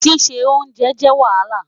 Sise onjè jẹ Wahala